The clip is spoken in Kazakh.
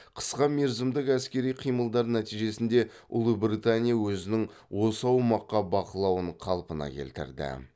қысқа мерзімдік әскери қимылдар нәтижесінде ұлыбритания өзінің осы аумаққа бақылауын қалпына келтірді